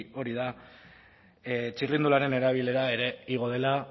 hori da txirrindularen erabilera ere igo da